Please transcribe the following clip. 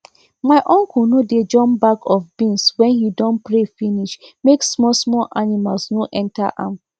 my uncle no dey jump bag of beans when he don pray finish make small small animals no enter am